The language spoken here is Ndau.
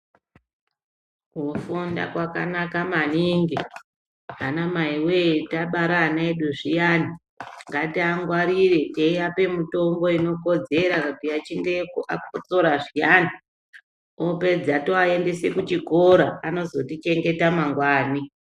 Kufunda kwakanaka maningi anamai we tabara anaedu zviyani ngatingwarire teivape mitombo inokodzera vachinge vakotsora zviyani topedza tovaendesa kuchikora vanozotichengetawo mangwani.